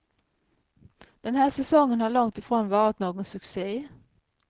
Den här säsongen har långtifrån varit någon succé.